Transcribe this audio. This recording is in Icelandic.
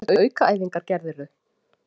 Hvernig aukaæfingar gerðirðu?